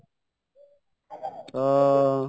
ଅ ଉ